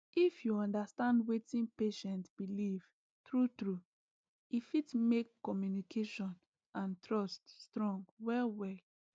if you understand wetin patient believe true true e fit make communication and trust strong well well